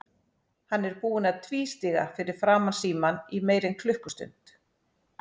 Hann er búinn að tvístíga fyrir framan símann í meira en klukkustund.